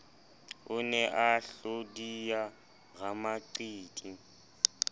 o ne a hlodiya ramaqiti